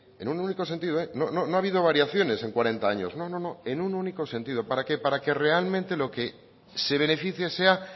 en un único sentido eh no ha habido variaciones en cuarenta años no no no en un único sentido para qué para que realmente lo que se beneficie sea